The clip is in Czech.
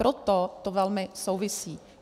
Proto to velmi souvisí.